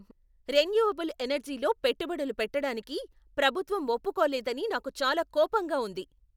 Renewable ఎనర్జీలో పెట్టుబడులు పెట్టడానికి ప్రభుత్వం ఒప్పుకోలేదని నాకు చాలా కోపంగా ఉంది.